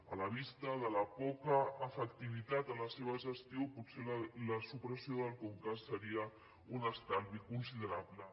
a la vista de la poca efectivitat de la seva gestió potser la supressió del conca seria un estalvi considerable